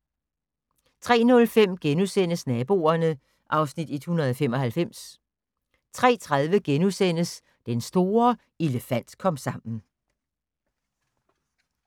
03:05: Naboerne (Afs. 195)* 03:30: Den store elefant-komsammen *